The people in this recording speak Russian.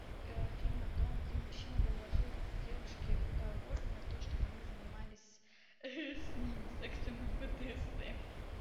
фильм о том где мужчина предложил девушке уговор на то чтоб они занимались с ним сексом и бдсм